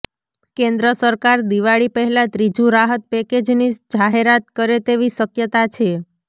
કેન્દ્ર સરકાર દિવાળી પહેલાં ત્રીજું રાહત પેકેજની જાહેરાત કરે તેવી શક્યતા છે